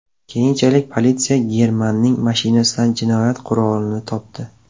Keyinchalik politsiya Germanning mashinasidan jinoyat qurolini topdi.